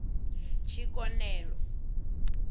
tshikonelo